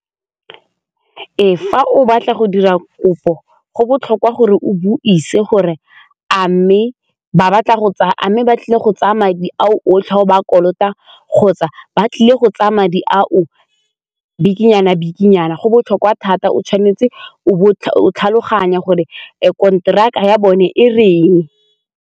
Ee, fa o batla go dira kopo go botlhokwa gore o buise gore a mme ba tlile go tsaya madi ao otlhe o ba kolota kgotsa ba tlile go tsaya madi a o bikinyana-bikinyana go botlhokwa thata o tshwanetse o bo o tlhaloganya gore konteraka ya bone e reng.